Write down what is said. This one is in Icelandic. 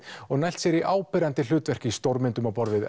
og nælt sér í áberandi hlutverk í stórmyndum á borð við